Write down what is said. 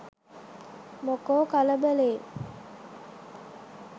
මොකෝ කලබලේ